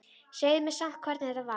Segðu mér samt hvernig þetta var.